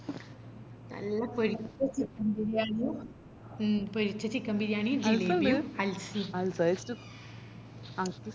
നല്ല പൊരിച്ച chicken ബിരിയാണിയും മ് പൊരിച്ച chicken ബിരിയാണിയും ജലേബി ഉം അൽസ മ്